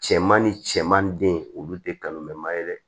Cɛman ni cɛman den olu te kanu mɛn ma ye dɛ